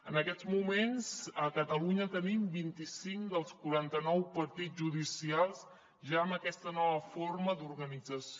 en aquests moments a catalunya tenim vint i cinc dels quaranta nou partits judicials ja amb aquesta nova forma d’organització